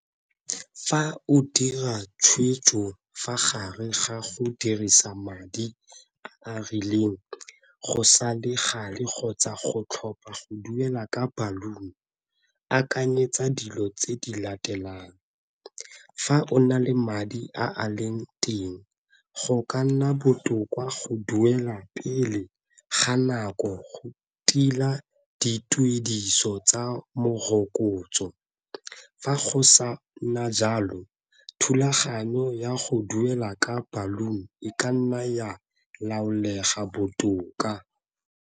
Fa o dira tshwetso fa gare ga go dirisa madi a a rileng go sa le gale kgotsa go tlhopha go duela ka ballon-i akanyetsa dilo tse di latelang. Fa o na le madi a a leng teng go ka nna botoka go duela pele ga nako go tila dituediso tsa mokotso, fa go sa nna jalo thulaganyo ya go duela ka e ka nna ya laolega botoka.